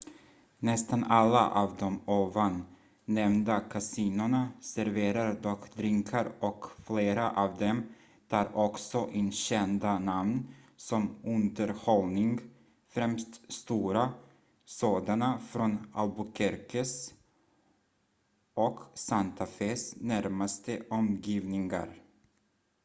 nästan alla av de ovan nämnda kasinona serverar dock drinkar och flera av dem tar också in kända namn som underhållning främst stora sådana från albuquerques och santa fes närmaste omgivningar